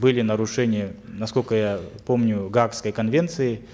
были нарушения насколько я помню гаагской конвенции